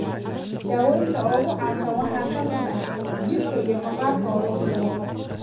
Daawaynta ugu caansan waxaa ka mid ah corticosteroids iyo jirka (maqaarka lagu dabaqo) immunotherapy.